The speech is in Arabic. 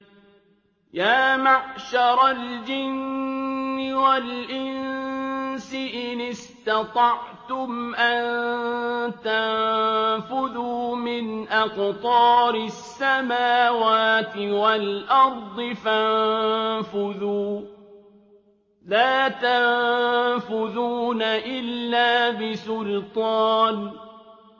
يَا مَعْشَرَ الْجِنِّ وَالْإِنسِ إِنِ اسْتَطَعْتُمْ أَن تَنفُذُوا مِنْ أَقْطَارِ السَّمَاوَاتِ وَالْأَرْضِ فَانفُذُوا ۚ لَا تَنفُذُونَ إِلَّا بِسُلْطَانٍ